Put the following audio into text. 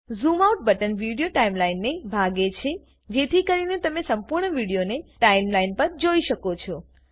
zoom out button video ટાઈમલાઈનને ભાંગે છે જેથી કરીને તમે સંપૂર્ણ વિડીયોને ટાઈમલાઈન પર જોઈ શકો